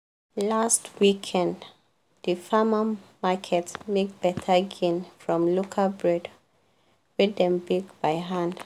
last weekend di farmer market make better gain from local bread wey dem bake by hand.